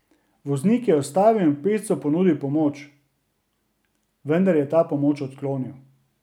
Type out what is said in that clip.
Voznik je ustavil in pešcu ponudil pomoč, vendar je ta pomoč odklonil.